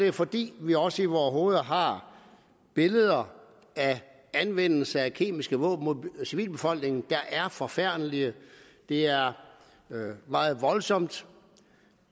jo fordi vi også i vore hoveder har billeder af anvendelse af kemiske våben mod civilbefolkningen der er forfærdelige det er meget voldsomt